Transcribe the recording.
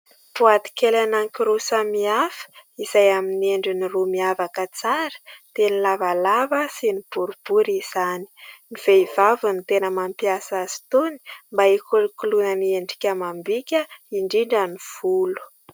Boaty kely anankiroa samihafa, izay amin'ny endriny roa miavaka tsara dia ny lavalava sy ny boribory izany ; ny vehivavy no tena mampiasa azy itony, mba hikolokoloana ny endrika amam-bika indrindra ny volo.